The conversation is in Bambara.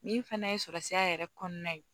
Min fana ye sɔrɔsira yɛrɛ kɔnɔna ye